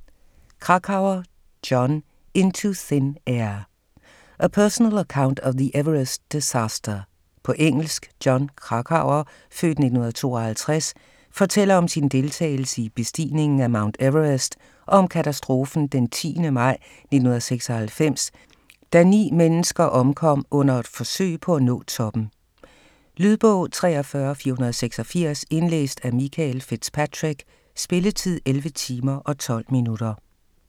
Krakauer, Jon: Into thin air: a personal account of the Everest disaster På engelsk. Jon Krakauer (f. 1952) fortæller om sin deltagelse i bestigningen af Mount Everest og om katastrofen den 10. maj 1996, da 9 mennesker omkom under forsøg på at nå toppen. Lydbog 43486 Indlæst af Michael FitzPatrick Spilletid: 11 timer, 12 minutter.